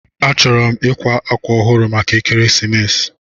Achọrọ m ịkwa akwa ọhụrụ maka ekeresimesi.